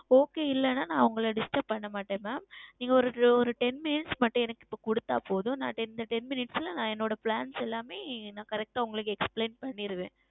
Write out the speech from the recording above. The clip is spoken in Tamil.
Okay இல்லை என்றால் நான் உங்களை Distrub செய்யமாட்டேன் நீங்கள் ஓர் Ten Minutes மட்டும் எனக்கு நீங்கள் கொடுத்தால் போதும் நான் அந்த Ten Minutes ல நான் எங்களுடைய Plans எல்லாமே Correct ஆ Explain செய்திடுவேன்